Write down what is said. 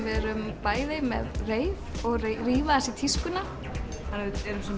við erum bæði með reif og að rífa aðeins í tískuna við erum